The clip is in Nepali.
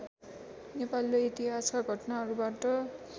नेपालीले इतिहासका घटनाहरूबाट